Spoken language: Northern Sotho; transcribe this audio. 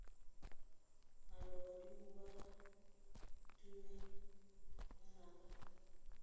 alo badimo be tumi ngwanaka